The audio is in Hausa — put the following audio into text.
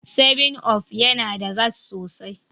7up yana da gas sosai.